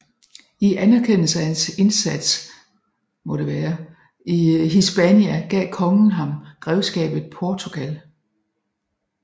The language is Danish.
I anerkendelse af hans indsat i Hispania gav kongen ham grevskabet Portugal